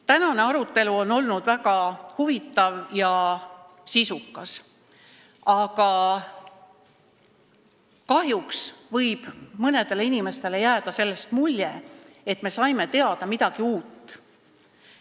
Tänane arutelu on olnud väga huvitav ja sisukas, aga kahjuks võib mõnele inimesele jääda sellest mulje, nagu me oleksime saanud teada midagi uut.